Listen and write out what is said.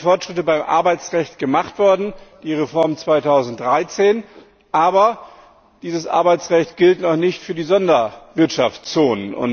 Es sind Fortschritte beim Arbeitsrecht gemacht worden die Reform 2013. Aber dieses Arbeitsrecht gilt noch nicht für die Sonderwirtschaftszonen.